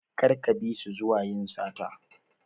Kar ka bisu zuwa yin sata.